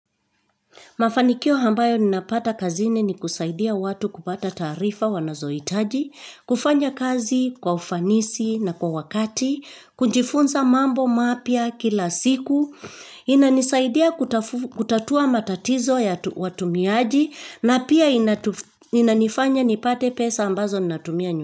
Mafanikio ambayo ninapata kazini ni kusaidia watu kupata taarifa wanazohitaji, kufanya kazi kwa ufanisi na kwa wakati, kujifunza mambo mapya kila siku, inanisaidia kutatua matatizo ya watumiaji, na pia inanifanya nipate pesa ambazo ninatumia nyumbani.